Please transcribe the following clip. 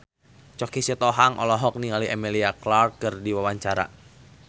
Choky Sitohang olohok ningali Emilia Clarke keur diwawancara